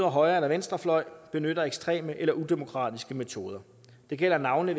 højre eller venstrefløj benytter ekstreme eller udemokratiske metoder det gælder navnlig